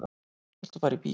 Viltu fara í bíó?